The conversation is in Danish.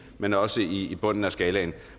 men også i bunden af skalaen